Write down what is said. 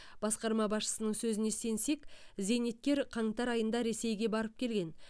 басқарма басшысының сөзіне сенсек зейнеткер қаңтар айында ресейге барып келген